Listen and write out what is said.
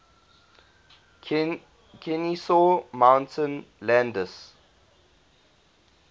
kenesaw mountain landis